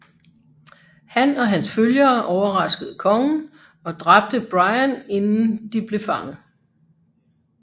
Han og hans følgere overraskede kongen og dræbte Brian inden de blev fanget